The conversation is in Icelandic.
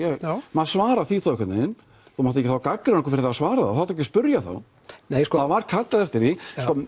maður svarar því þá einhvern veginn þú mátt ekki gagnrýna okkur fyrir að svara og þá máttu ekki spyrja þá það var kallað eftir því